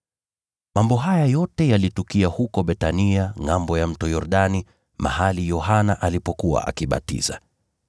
Mambo haya yote yalitukia huko Bethania, ngʼambo ya Mto Yordani, mahali Yohana alipokuwa akibatiza.